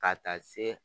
Ka taa se